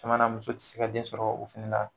Caman na muso te se ka den sɔrɔ o fɛnɛ la.